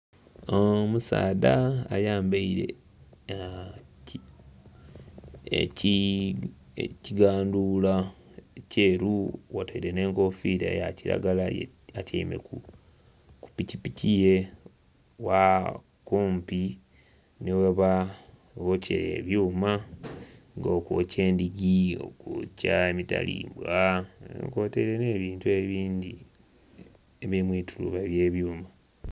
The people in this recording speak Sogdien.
Omusaadha ayambaire ekiganduula kyeru kwotaire nh'enkofiira ya kilagala. Atyaime ku pikipiki ye kumpi nhi ghebokyera ebyuma, nga okwokya endhigi, okwokya emitalimbwa nga kwotaire n'ebintu ebindhi ebiri mu ituluba ly'ebyuma.